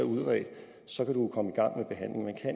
så